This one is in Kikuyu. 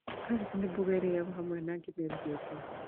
Kambĩji nĩ mboga ĩrĩagwo hamwe na ngima ĩrũgĩtwo